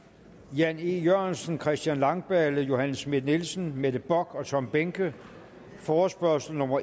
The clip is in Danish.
jan e jørgensen christian langballe johanne schmidt nielsen mette bock og tom behnke forespørgsel nummer